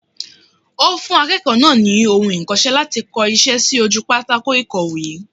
Ó fún akéèkòó náà ni ohun ikose láti ko isé sí ojú pátákó ìkọ̀wé